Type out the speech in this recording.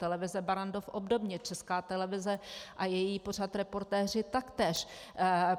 Televize Barrandov obdobně, Česká televize a její pořad Reportéři taktéž.